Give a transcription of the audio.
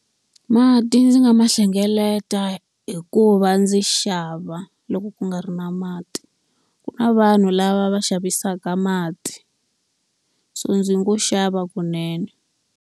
Mati ndzi nga ma hlengeleta hi ku va ndzi xava loko ku nga ri na mati. Ku na vanhu lava va xavisaka mati, so ndzi ngo xava kunene.